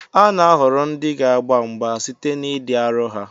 A na-ahọrọ ndị ga-agba mgba site n'ịdị arọ ha